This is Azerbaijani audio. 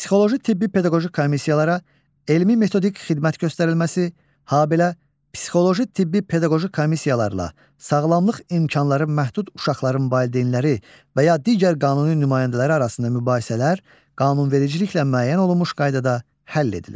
Psixoloji, tibbi, pedaqoji komissiyalara elmi-metodik xidmət göstərilməsi, habelə psixoloji, tibbi, pedaqoji komissiyalarla sağlamlıq imkanları məhdud uşaqların valideynləri və ya digər qanuni nümayəndələri arasında mübahisələr qanunvericiliklə müəyyən olunmuş qaydada həll edilir.